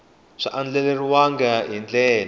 a swi andlariwangi hi ndlela